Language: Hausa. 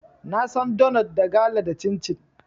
Na san donot, da gala, da cincin.